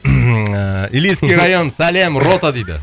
хмм ыыы илийский район сәлем рота дейді